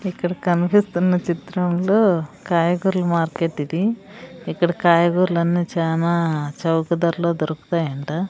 ఇక్కడ కనిపిస్తున్న చిత్రంలో కాయగూరల మార్కెట్ ఇది ఇక్కడ కాయగూరలన్నీ చానా చౌక ధరలో దొరుకుతాయి అంట.